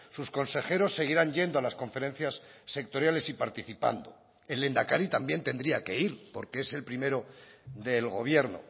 sus consejeros seguirán yendo a las conferencias sectoriales y participando el lehendakari también tendría que ir porque es el primero del gobierno